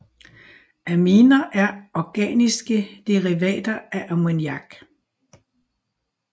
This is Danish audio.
Aminer er organiske derivater af ammoniak